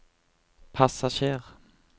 passasjer